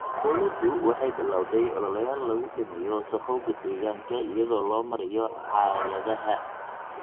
Dawladdu waxay bilawday ololeyaal lagu dhimayo wasakhowga deegaanka iyadoo loo marayo caagadaha.